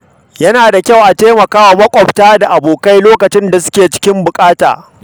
Yana da kyau a taimakawa maƙwabta da abokai lokacin da suke cikin buƙata.